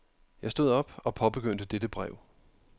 Jeg stod op og påbegyndte dette brev.